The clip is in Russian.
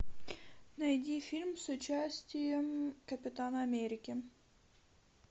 найди фильм с участием капитана америки